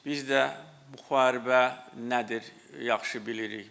Biz də müharibə nədir, yaxşı bilirik.